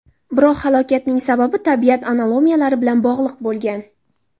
Biroq halokatning sababi tabiat anomaliyalari bilan bog‘liq bo‘lgan.